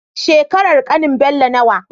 Shekarar ƙanin Bello nawa?